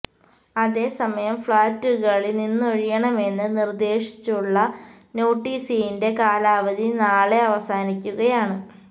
അതേ സമയം ഫ്ളാറ്റുകളില് നിന്നൊഴിയണമെന്ന് നിര്ദ്ദേശിച്ചുള്ള നോട്ടിസിന്റെ കാലാവധി നാളെ അവസാനിക്കുകയാണ്